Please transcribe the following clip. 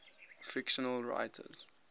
fictional writers